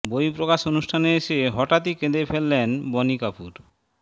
বই প্রকাশ অনুষ্ঠানে এসে হঠাৎই কেঁদে ফেলেন বনি কাপুর